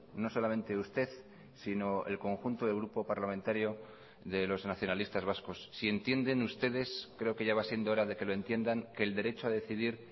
no solamente usted sino el conjunto del grupo parlamentario de los nacionalistas vascos si entienden ustedes creo que ya va siendo hora de que lo entiendan que el derecho a decidir